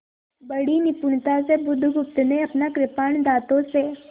बड़ी निपुणता से बुधगुप्त ने अपना कृपाण दाँतों से